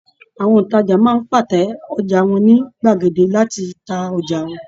Àwọn òntajà máa ń pàtẹ ọjà wọn ní gbàgede láti ta ọjà